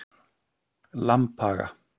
Lambhaga